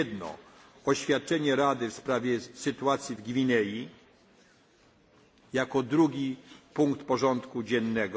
Jedno oświadczenie Rady w sprawie sytuacji w Gwinei jako drugi punkt porządku dziennego.